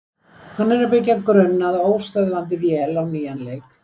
Hann er að byggja grunn að óstöðvandi vél á nýjan leik.